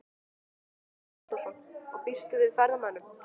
Hugrún Halldórsdóttir: Og býstu við ferðamönnum?